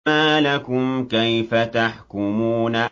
مَا لَكُمْ كَيْفَ تَحْكُمُونَ